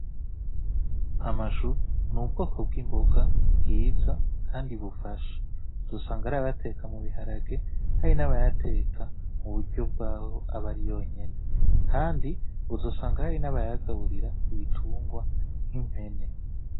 Amashu ni ubwoko bw'imboga bwiza kandi bufasha, uzosanga hari abayateka mu biharage hari n'abayateka mu buryo bwabo aba ari yonyene. Kandi uzosanga hari n'abayagaburira ibitungwa, nk'impene.